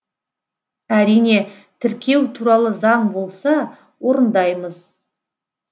әрине тіркеу туралы заң болса орындаймыз